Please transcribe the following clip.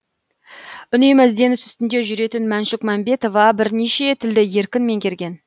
үнемі ізденіс үстінде жүретін мәншүк мәмбетова бірнеше тілді еркін меңгерген